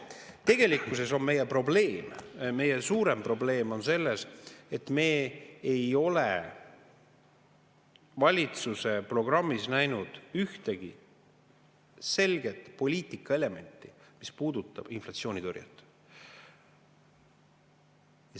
Tegelikkuses on meie suurem probleem selles, et me ei ole valitsuse programmis näinud ühtegi selget poliitikaelementi, mis puudutaks inflatsioonitõrjet.